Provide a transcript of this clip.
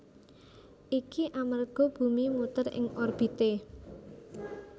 Iki amerga bumi muter ing orbité